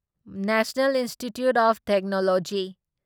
national institutes of technology